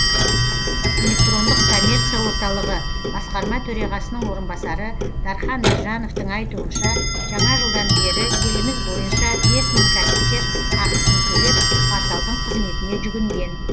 электрондық коммерция орталығы басқарма төрғасының орынбасары дархан біржановтың айтуынша жаңа жылдан бері еліміз бойынша бес мың кәсіпкер ақысын төлеп порталдың қызметіне жүгінген